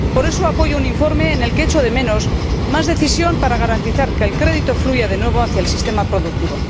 Por eso apoyo un informe en el que echo de menos más decisión para garantizar que el crédito fluya de nuevo hacia el sistema productivo.